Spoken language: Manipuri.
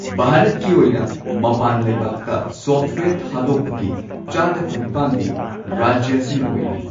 ꯚꯥꯔꯠꯀꯤ ꯑꯣꯏꯅ ꯃꯄꯥꯟ ꯂꯩꯕꯥꯛꯇ ꯁꯣꯐ꯭ꯠꯋꯦꯌꯔ ꯊꯥꯗꯣꯛꯄꯒꯤ ꯆꯥꯗ ꯀꯨꯟꯅꯤꯄꯥꯟꯗꯤ ꯔꯥꯖ꯭ꯌ ꯑꯁꯤꯅ ꯑꯣꯏꯔꯤ꯫